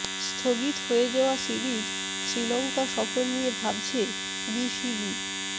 স্থগিত হয়ে যাওয়া সিরিজ শ্রীলংকা সফর নিয়ে ভাবছে বিসিবি